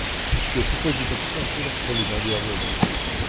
Porque o que foi dito aqui foi a pura realidade e a verdade.